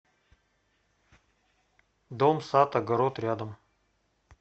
дом сад огород рядом